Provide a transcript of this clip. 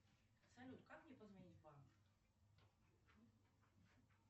салют как мне позвонить в банк